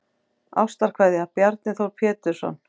Ástarkveðja Bjarni Þór Pétursson